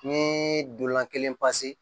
Ni dorolan kelen pase